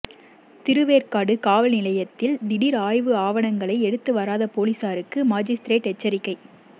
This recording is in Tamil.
திருவேற்காடு காவல் நிலையத்தில் திடீர் ஆய்வு ஆவணங்களை எடுத்துவராத போலீசாருக்கு மாஜிஸ்திரேட் எச்சரிக்கை